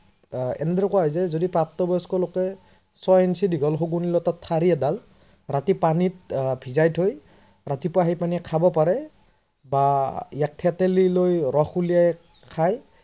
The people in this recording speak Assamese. আহ এনেদৰে কোৱা হয় যদি প্ৰাপ্তবয়স্কলোকে ছয় ইন্সি দীঘল শগুনী লতাৰ ঠাৰি এডাল ৰাতি পানীত ভিজাই থৈ ৰাতিপূৱা সেই পানী খাব পাৰে বা থেতেলি লৈ ৰস উলিয়াই খায়